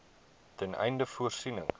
ten einde voorsiening